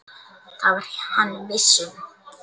Það var hann viss um.